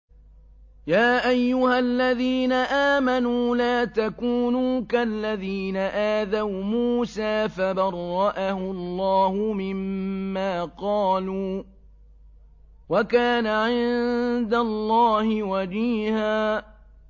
يَا أَيُّهَا الَّذِينَ آمَنُوا لَا تَكُونُوا كَالَّذِينَ آذَوْا مُوسَىٰ فَبَرَّأَهُ اللَّهُ مِمَّا قَالُوا ۚ وَكَانَ عِندَ اللَّهِ وَجِيهًا